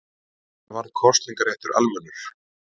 Hvenær varð kosningaréttur almennur?